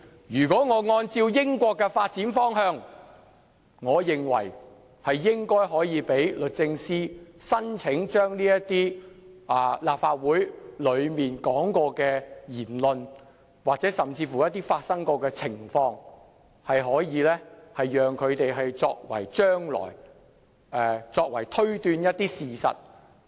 如果按照英國的發展方向，我認為應讓律政司申請在法庭上使用這些關乎曾在立法會發表的言論，甚或是曾發生的情況的文件，供用作推斷一些事實。